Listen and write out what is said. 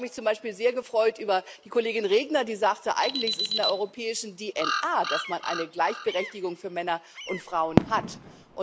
Ich habe mich zum Beispiel sehr gefreut über die Kollegin Regner, die sagte, eigentlich ist es in der europäischen DNS, dass es Gleichberechtigung zwischen Männern und Frauen gibt.